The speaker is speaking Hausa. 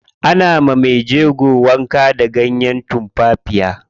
Ana wa mejego wanka da ganyen tumfafiya.